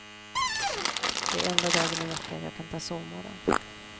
Det är enda dagen i veckan jag kan ta sovmorgon.